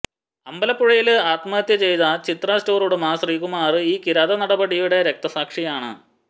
അമ്പലപ്പുഴയില് ആത്മഹത്യ ചെയ്ത ചിത്ര സ്റ്റോര് ഉടമ ശ്രീകുമാര് ഈ കിരാത നടപടിയുടെ രക്തസാക്ഷിയാണ്